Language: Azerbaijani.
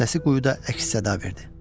Səsi quyuda əks-səda verdi.